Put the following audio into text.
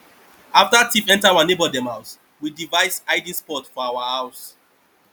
after thief enter our neighbor dem house we device hiding spot for our house